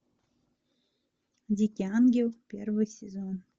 дикий ангел первый сезон